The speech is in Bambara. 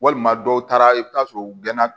Walima dɔw taara i bɛ taa sɔrɔ u gɛnna